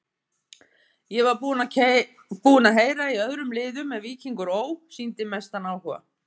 Ég var búinn að heyra í öðrum liðum en Víkingur Ó. sýndi mestan áhuga.